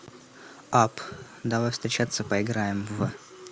апп давай встречаться поиграем в